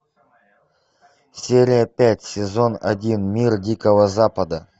серия пять сезон один мир дикого запада